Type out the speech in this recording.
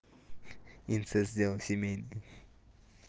инцест дело семейное